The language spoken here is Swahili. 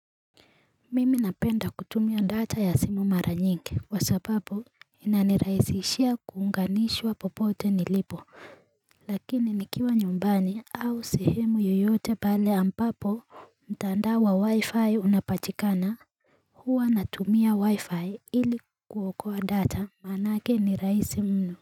Mimi napenda kutumia ndata ya simu mara nyingi kwa sapapu inaniraisishia kuunganishwa popote nilipo Lakini nikiwa nyumbani au sehemu yoyote pale ambapo mtandao wa wi-fi unapatikana huwa natumia waifai ili kuokoa data maanake ni raisi mnu.